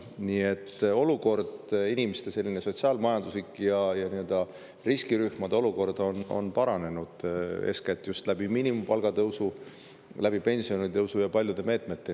Nii et olukord, inimeste sotsiaal-majanduslik ja nii-öelda riskirühmade olukord, on paranenud eeskätt just miinimumpalga tõusu, pensionitõusu ja paljude meetmete tõttu.